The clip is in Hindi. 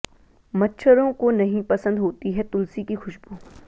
मच्छरों को नहीं पसंद होती है तुलसी की खुशबू